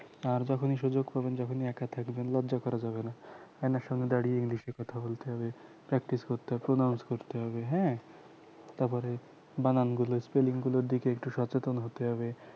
আর যখনি সুযোগ পাবেন যখনি একা থাকবেন লজ্জা করা যাবেনা আয়নার সামনে দাঁড়িয়ে english কথা বলতে হবে practice করতে হবে pronouns করতে হবে হ্যাঁ তারপরে বানান গুলো spelling গুলো দেখে একটু সচেতন হতে হবে